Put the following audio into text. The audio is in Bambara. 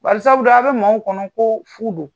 Barisabula a bɛ maa kan mƐ ko fuu don.